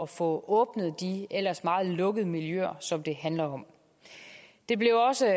få åbnet de ellers meget lukkede miljøer som det handler om det blev også